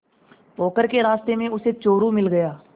पोखर के रास्ते में उसे चोरु मिल गया